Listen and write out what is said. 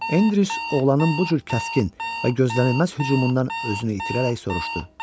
Enriz oğlanın bu cür kəskin və gözlənilməz hücumundan özünü itirərək soruşdu: